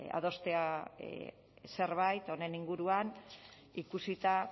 adostea zerbait honen inguruan ikusita